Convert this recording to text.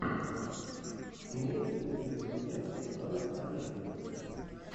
имеется ли у тебя фильмец жанр комедия